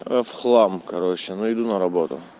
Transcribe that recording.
а я в хлам короче но иду на работу